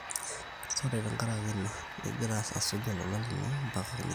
sore tenkaraki ina, ekigira asuj olola lino mpaka nikitum